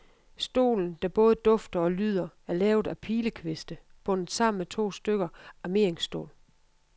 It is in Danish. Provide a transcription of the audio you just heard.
Stolen, der både dufter og lyder, er lavet af pilekviste, bundet sammen med to stykker armeringsstål.